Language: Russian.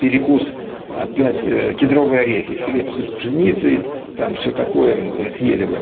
перекус опять кедровые орехи хлеб из пшеницы там все такое съели вы